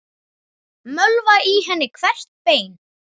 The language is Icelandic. Mölva í henni hvert bein.